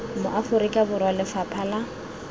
mo aforika borwa lefapha la